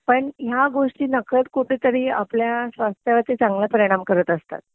पण ह्या गोष्टी नकळत कुठेतरी आपल्या संस्थेवरती चांगला परिणाम करत असतात